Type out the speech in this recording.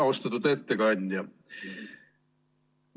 Austatud ettekandja!